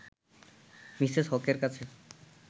Mrs হকের কাছে